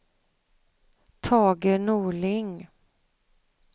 Tage Norling